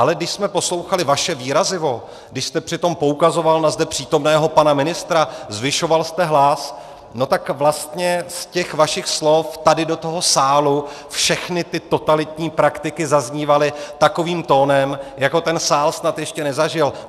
Ale když jsme poslouchali vaše výrazivo, když jste přitom poukazoval na zde přítomného pana ministra, zvyšoval jste hlas, no tak vlastně z těch vašich slov tady do toho sálu všechny ty totalitní praktiky zaznívaly takovým tónem, jako ten sál snad ještě nezažil.